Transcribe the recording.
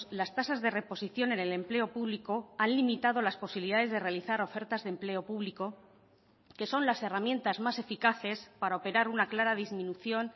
las tasas de reposición en el empleo público han limitado las posibilidades de realizar ofertas de empleo público que son las herramientas más eficaces para operar una clara disminución